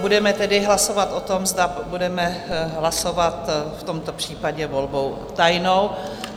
Budeme tedy hlasovat o tom, zda budeme hlasovat v tomto případě volbou tajnou.